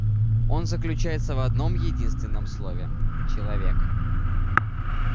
он заключается в одном-единственном слове человек